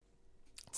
TV 2